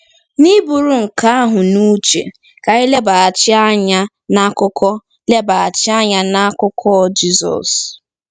N’iburu nke ahụ n’uche, ka anyị lebaghachi anya n’akụkọ lebaghachi anya n’akụkọ Jizọs.